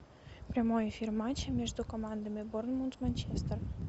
прямой эфир матча между командами борнмут манчестер